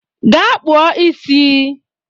Gaa kpụọ isi